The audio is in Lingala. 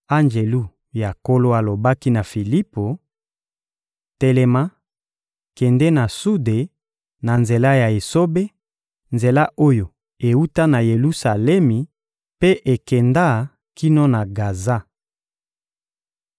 Anjelu ya Nkolo alobaki na Filipo: — Telema, kende na sude, na nzela ya esobe, nzela oyo ewuta na Yelusalemi mpe ekenda kino na Gaza.